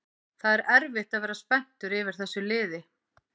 Það er erfitt að vera spenntur yfir þessu liði